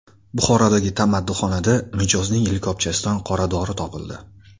Buxorodagi tamaddixonada mijozning likopchasidan qoradori topildi.